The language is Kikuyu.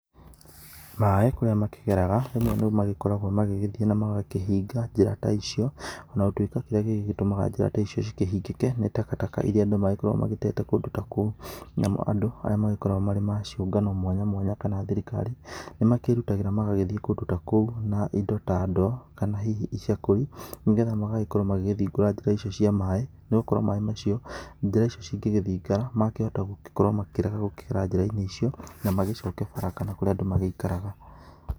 Maĩ kũrĩa makĩgeraga rĩmwe nĩmagĩkoragwa magagĩthiĩ na magakĩhinga njĩra ta icio ona gũtũĩka kĩrĩa gĩtũmaga njĩra ta icio cikĩhingĩke tĩ takataka irĩa andũ magĩkoragwa magĩtete kũndũ ta kũu na mo andũ arĩa magĩkoragwa arĩa maciũngano mwanyamwanya na thirikari nĩmekĩrutagĩra mawĩra magĩthiĩ kũndũ ta kũu na indo ta ndoo na hihi icakũri nĩgetha magagĩkorwa magĩthingũra njĩra icio cia maĩ noũkorwa maĩ macio njĩra icio cingegĩthinga makĩhota gũkorwo makĩrega kũgera njĩraini icio na kũrĩa andũ maikaraga.